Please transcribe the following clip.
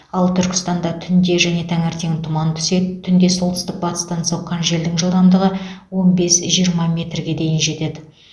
ал түркістанда түнде және таңертең тұман түседі түнде солтүстік батыстан соққан желдің жылдамдығы он бес жиырма метрге дейін жетеді